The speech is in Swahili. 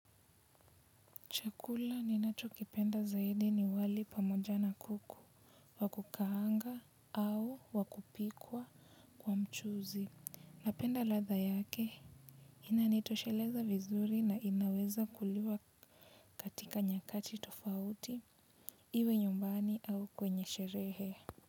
Chakula ninacho kipenda zaidi ni wali pamoja na kuku. Wa kukaanga au wakupikwa kwa mchuzi. Napenda ladha yake. Ina nitosheleza vizuri na inaweza kuliwa katika nyakati tofauti. Iwe nyumbani au kwenye sherehe.